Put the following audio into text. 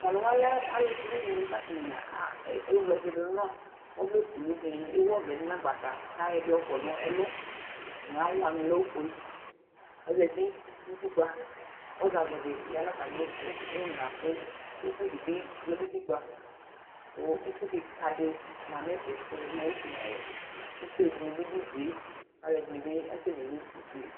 Talʋ wa lɛ alʋ kulu di ni kʋ atani ewle ɛtʋ dʋ nʋ ɔvlɛ kulu dini kʋ ewu ɔvlɛ di nʋ agbata kʋ ayɔ ɛdini yɔkɔ nɛlʋ Atami awʋ wani lɛ ofue Azati nʋ utikpa Ɔzazʋ di ya nʋ atami imla kʋ ukpi di bi flɛ nʋ utikpa kʋ itsu kika di ma nʋ ɛfɛ kʋ azati nʋ ayuti la yɛ Ito dini bi dʋ udu e kʋ alʋ ɛdini bi asɛli nʋ udu e